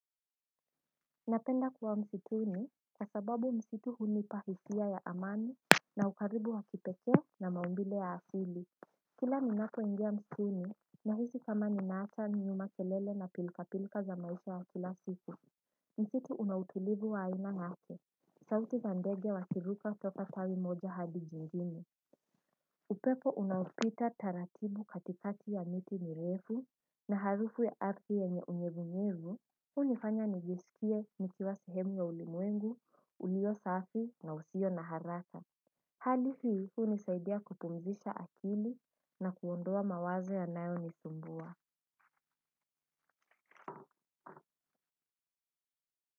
Napenda kuwa msituni kwa sababu msitu hunipa hisia ya amani na ukaribu wa kipekee na maumbile ya akili kila ninapoingia msituni nahisi kama ninaacha nyuma kelele na pilkapilka za maisha ya kila sifu msitu una utulivu wa aina yake sauti za ndege wakiruka toka tawi moja hadi jingine upepo unaopita taratibu katikati ya miti mirefu na harufu ya ardhi yenye unyevunyevu hunifanya nijisikie nikiwa sehemu ya ulimwengu, ulio safi na usio na haraka hali hii hunisaidia kupumzisha akili na kuondoa mawazo yanayonisumbua.